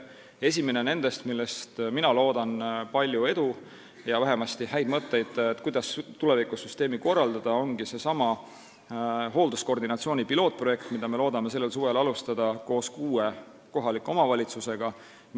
Esimene nendest, millele mina soovin palju edu ja kust ma loodan saada häid mõtteid selle kohta, kuidas tulevikus süsteemi korraldada, ongi seesama hoolduskoordinatsiooni pilootprojekt, mida me loodame sellel suvel koos kuue kohaliku omavalitsusega alustada.